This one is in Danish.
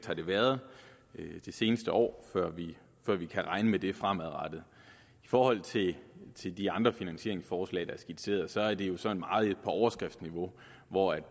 har været det seneste år før vi kan regne med det fremadrettet i forhold til til de andre finansieringsforslag der er skitseret så er det jo sådan meget på overskriftsniveau hvor